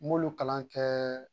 N m'olu kalan kɛ